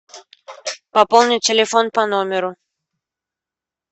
пополни телефон по номеру